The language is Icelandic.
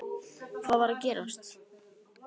Hvað er að gerast???